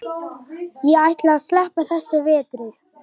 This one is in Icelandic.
Ég ætla að sleppa þessum vetri.